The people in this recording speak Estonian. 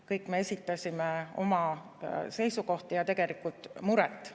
Kõik me esitasime oma seisukohti ja tegelikult muret.